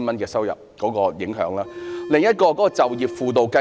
另一令人不滿之處，就是就業輔導計劃。